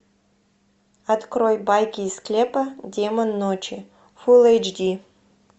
открой байки из склепа демон ночи фулл эйчди